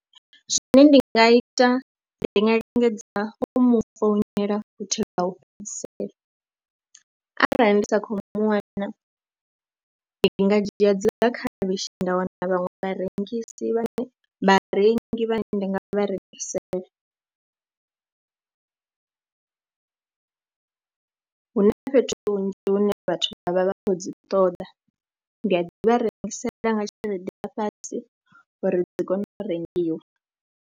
Zwine ndi nga ita ndi nga lingedza u mu founela futhi lwa u fhedzisela arali ndi sa khou mu wana ndi nga dzhia dziḽa khavhishi nda wana vhaṅwe vharengisi vhane, vharengi vhane nda nga vha rengisela. Hu na fhethu hunzhi hune vhathu vha vha vha khou dzi ṱoḓa, ndi a ḓi vha rengisela nga tshelede ya fhasi uri dzi kone u rengiwa.